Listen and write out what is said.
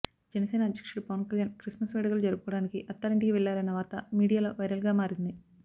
జనసేన అధ్యక్షుడు పవన్ కళ్యాణ్ క్రిస్మస్ వేడుకలు జరుపుకోవడానికి అత్తారింటికి వెళ్లారన్న వార్త మీడియాలో వైరల్గా మారింది